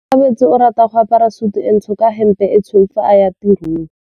Onkabetse o rata go apara sutu e ntsho ka hempe e tshweu fa a ya tirong.